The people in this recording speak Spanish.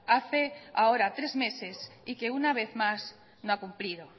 hace ahora tres meses y que una vez más no ha cumplido